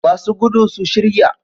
Masu gudu su shirya.